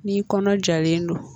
Ni kɔnɔ jalen don.